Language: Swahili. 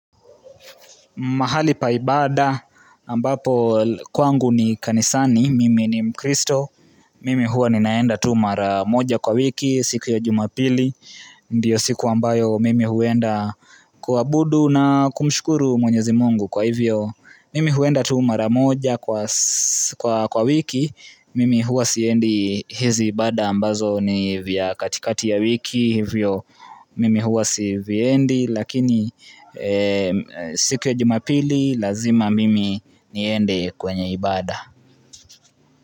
Mahali pa ibada ambapo kwangu ni kanisani, mimi ni mkristo, mimi hua ninaenda tu mara moja kwa wiki, siku ya jumapili, ndiyo siku ambayo mimi huenda kuabudu na kumshukuru mwenyezi Mungu kwa hivyo. Mimi huenda tu mara moja kwa wiki Mimi hua siendi hizi ibada ambazo ni vya katikati ya wiki Mimi hua siviendi lakini siku ya jumapili lazima mimi niende kwenye ibada.